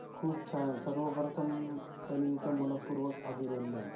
खूप छान. सर्व प्रथम तन्वीचं मन:पूर्वक अभिनंदन.